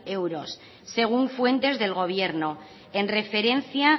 euros según fuentes del gobierno en referencia